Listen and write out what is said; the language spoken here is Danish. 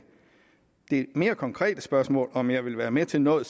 det mere konkrete spørgsmål om jeg vil være med til noget